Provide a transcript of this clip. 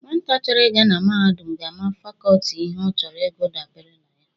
Nwata chọrọ ị ga mahadum ga-ama fakọlti ihe ọ chọrọ ịgụ dabara na ya.